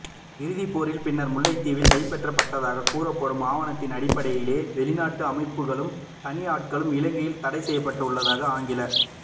இறுதிப்போரின் பின்னர் முல்லைத்தீவில் கைப்பற்றப்பட்டதாக கூறப்படும் ஆவணத்தின் அடிப்படையிலேயே வெளிநாட்டு அமைப்புகளும் தனி ஆட்களும் இலங்கையில் தடை செய்யப்பட்டுள்ளதாக ஆங்கில